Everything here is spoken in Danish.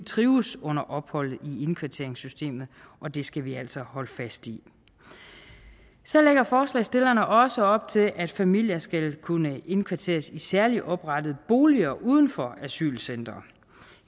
trives under opholdet i indkvarteringssystemet og det skal vi altså holde fast i så lægger forslagsstillerne også op til at familier skal kunne indkvarteres i særligt oprettede boliger uden for asylcentre